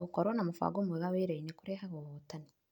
Gũkorwo na mũfango mwega wĩrainĩ kurehaga ũhotani